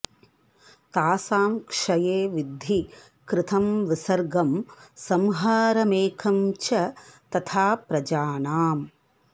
तासां क्षये विद्धि कृतं विसर्गं संहारमेकं च तथा प्रजानाम्